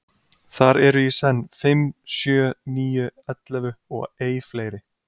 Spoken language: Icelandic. Þar eru í senn fimm, sjö, níu, ellefu og ei fleiri.